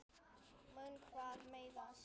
Mun hann meiðast?